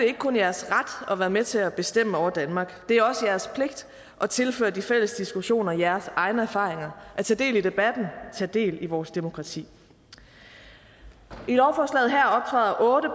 ikke kun jeres ret at være med til at bestemme over danmark det er også jeres pligt at tilføre de fælles diskussioner jeres egne erfaringer og tage del i debatten og tage del i vores demokrati i lovforslaget her optræder otte